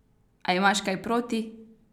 A imaš kaj proti?